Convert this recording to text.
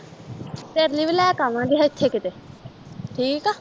ਤੇਰੇ ਲਈ ਵੀ ਲੈ ਕੇ ਆਵਾਂਗੀ ਐਥੇ ਕਿਤੇ ਠੀਕ ਆ